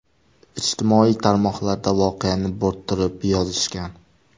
Ijtimoiy tarmoqlarda voqeani bo‘rttirib yozishgan.